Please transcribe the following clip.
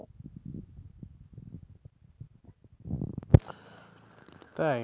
তাই,